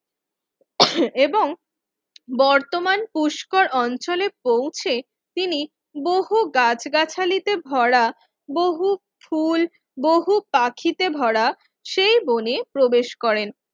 এবং বর্তমান পুষ্কর অঞ্চলে পৌঁছে তিনি বহু গাছ-গাছালিতে ভরা বহু ফুল বহু পাখিতে ভরা সেই বনে প্রবেশ করেন